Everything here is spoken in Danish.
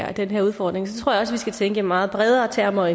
af den her udfordring så tror jeg at vi skal tænke i meget bredere termer